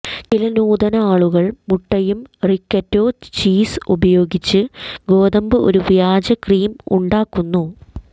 ചില നൂതന ആളുകൾ മുട്ടയും റിക്കറ്റോ ചീസ് ഉപയോഗിച്ച് ഗോതമ്പ് ഒരു വ്യാജ ക്രീം ഉണ്ടാക്കുന്നു